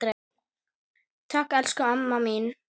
Takk, elsku amma mín.